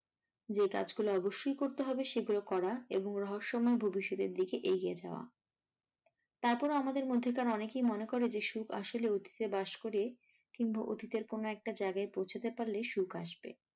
যে কাজ গুলো অবশ্যই করতে হবে সেগুলো করা এবং রহস্যময় ভবিস্যতের দিকে এগিয়ে যাওয়া। তারপরেও আমাদের মধ্যেকার অনেকেই মনে করে যে সুখ আসলে অতীতে বাস করে কিংবা অতীতের কোনো একটা জায়গায় পৌঁছাতে পারলে সুখ আসবে।